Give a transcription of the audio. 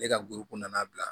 Ne ka buru nana bila